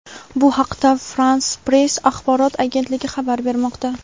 Bu haqda "France Press" axborot agentligi xabar bermoqda.